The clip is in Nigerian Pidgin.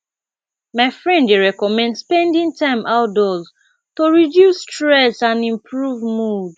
my friend dey recommend spending time outdoors to reduce stress and improve mood